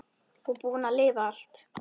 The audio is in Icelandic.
Og búin að lifa allt.